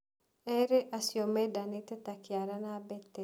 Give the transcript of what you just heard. Erĩ acio mendanĩte ta kĩara na mbete.